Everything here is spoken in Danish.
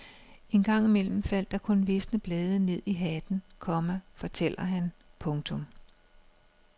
Engang imellem faldt der kun visne blade ned i hatten, komma fortæller han. punktum